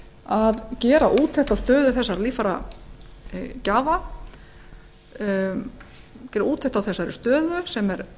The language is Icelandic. að gera úttekt á stöðu þessara líffæragjafa gera úttekt á þessari stöðu sem er